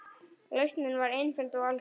Lausnin var einföld og algjör.